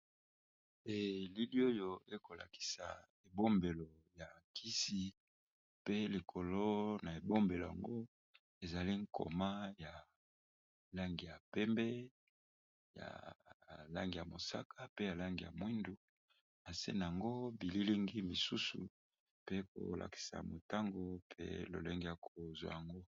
Elili oyo ekolakisa bombelo ya kisi pe likolo ya bombelo wana ezali koma ya langi ya pembe, mosaka, moyindo nase nango bilili mingi misusu pe kolakisa lolenge Yako zwa yango.